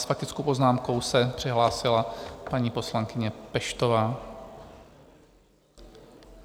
S faktickou poznámkou se přihlásila paní poslankyně Peštová.